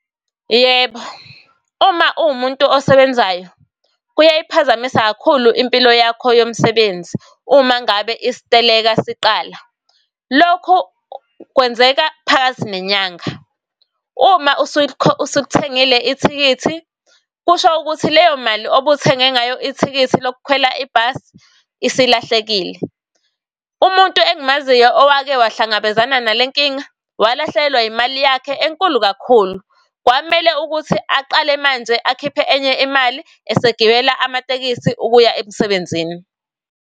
Yebo, uma uwumuntu osebenzayo kuyayiphazamisa kakhulu impilo yakho yomsebenzi uma ngabe isiteleka siqala. Lokhu kwenzeka phakathi nenyanga. Uma usulithengile ithikithi, kusho ukuthi leyo mali obuthenge ngayo ithikithi lokukhwela ibhasi isilahlekile. Umuntu engimaziyo owake wahlangabezana nale nkinga, walahlekelwa imali yakhe enkulu kakhulu. Kwamele ukuthi aqale manje akhiphe enye imali esegibela amatekisi ukuya emsebenzini.